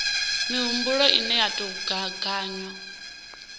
mihumbulo ine ya tou gaganywa